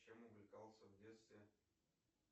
чем увлекался в детстве